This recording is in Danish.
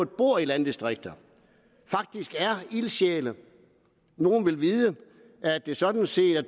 bor i landdistrikter faktisk er ildsjæle nogle vil vide at det sådan set er